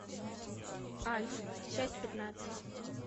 альф часть пятнадцать